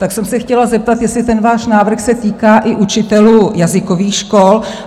Tak jsem se chtěla zeptat, jestli ten váš návrh se týká i učitelů jazykových škol?